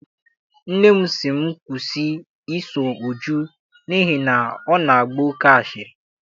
Nne m sị m kwụsị I so Uju n'ihi na ọ na-agba oke asịrị.